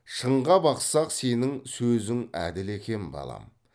шынға бақсақ сенің сөзің әділ екен балам